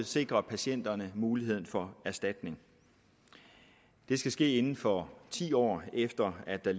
sikre patienterne mulighed for erstatning det skal ske inden for ti år efter at der